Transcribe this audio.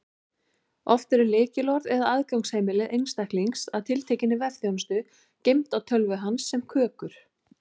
Oft eru lykilorð eða aðgangsheimildir einstaklings að tiltekinni vefþjónustu geymd á tölvu hans sem kökur.